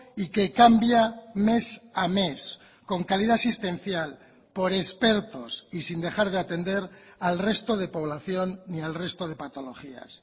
y que cambia mes a mes con calidad asistencial por expertos y sin dejar de atender al resto de población ni al resto de patologías